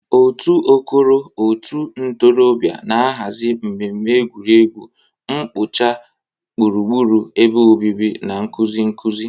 Otu "Okoro Òtù Ndị Ntorobịa" na-ahazi mmemme egwuregwu, mkpocha gburugburu ebe obibi, na nkuzi nkuzi.